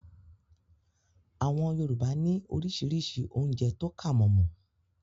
Àwọn Yorùbá ní orísirísi oúnjẹ tó kàmọ̀mọ̀